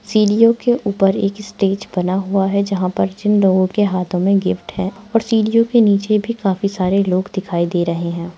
सीढ़ियों के ऊपर एक स्टेज बना हुआ है जहां पर जिन लोगों के हाथों में गिफ्ट है और सीढ़ियों के नीचे भी काफी सारे लोग दिखाई दे रहे हैं।